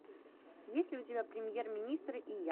есть ли у тебя премьер министр и я